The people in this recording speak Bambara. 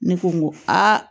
Ne ko n ko aa